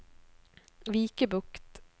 Vikebukt